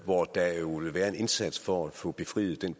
hvor der jo vil være en indsats for at få befriet